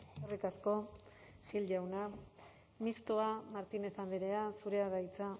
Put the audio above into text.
eskerrik asko gil jauna mistoa martínez andrea zurea da hitza